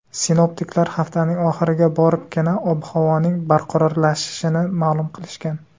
Sinoptiklar haftaning oxiriga boribgina ob-havoning barqarorlashishini ma’lum qilishgan.